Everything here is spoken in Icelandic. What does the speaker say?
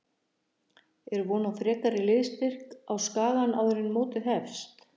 Er von á frekari liðsstyrk á Skagann áður en mótið hefst?